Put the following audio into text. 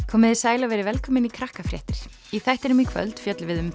komiði sæl og verið velkomin í Krakkafréttir í þættinum í kvöld fjöllum við um